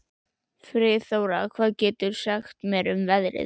Friðþóra, hvað geturðu sagt mér um veðrið?